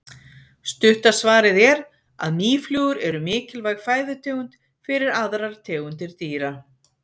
Stutta svarið er að mýflugur eru mikilvæg fæðutegund fyrir aðrar tegundir dýra.